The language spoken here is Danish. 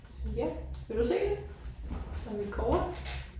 Så ja vil du se det? Det er så mit kort